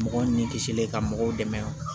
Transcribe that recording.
Mɔgɔ ni kisilen ka mɔgɔw dɛmɛ